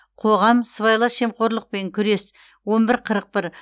қоғам сыбайлас жемқорлықпен күрес он бір қырық бір